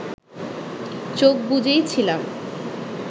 চোখ বুজেই ছিলাম